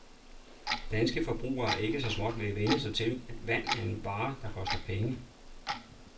Danske forbrugere er så småt ved at vænne sig til, at vand er en vare, der koster penge.